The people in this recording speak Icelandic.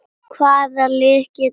Hvaða lið geta unnið mótið?